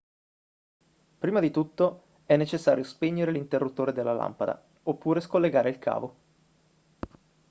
prima di tutto è necessario spegnere l'interruttore della lampada oppure scollegare il cavo